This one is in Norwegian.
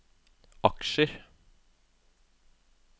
aksjer